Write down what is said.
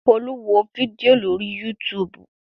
Folú wo fídíò lórí YouTube.